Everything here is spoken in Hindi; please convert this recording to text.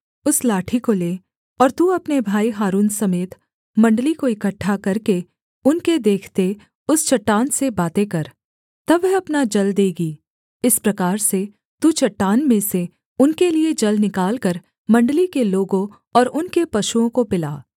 उस लाठी को ले और तू अपने भाई हारून समेत मण्डली को इकट्ठा करके उनके देखते उस चट्टान से बातें कर तब वह अपना जल देगी इस प्रकार से तू चट्टान में से उनके लिये जल निकालकर मण्डली के लोगों और उनके पशुओं को पिला